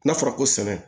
N'a fɔra ko sɛnɛ